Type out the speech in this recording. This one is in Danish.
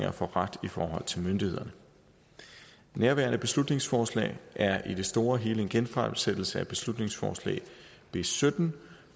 at få ret i forhold til myndighederne nærværende beslutningsforslag er i det store hele en genfremsættelse af beslutningsforslag b sytten